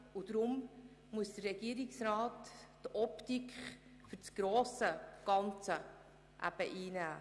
Darum muss der Regierungsrat die Optik für das grosse Ganze einnehmen.